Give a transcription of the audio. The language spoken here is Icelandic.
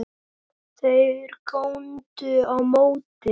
Þeir góndu á móti.